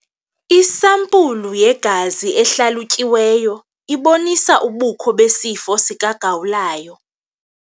Isampulu yegazi ehlalutyiweyo ibonise ubukho besifo sikagawulayo.